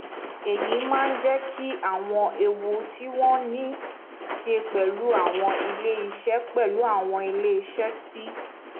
èyí máa ń jẹ kí àwọn ewu tí wọn ní í ṣe pẹlú àwọn iléeṣẹ pẹlú àwọn iléeṣẹ tí